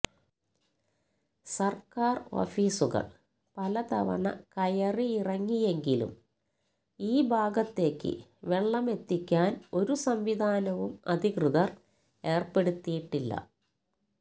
സര്ക്കാര് ഓഫീസുകള് പലതവണ കയറിയിറങ്ങിയെങ്കിലും ഈ ഭാഗത്തേക്ക് വെള്ളമെത്തിക്കാന് ഒരു സംവിധാനവും അധികൃതര് ഏര്പ്പെടുത്തിയിട്ടില്ല